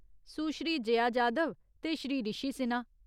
सुश्री जया जाधव ते श्री ऋषि सिन्हा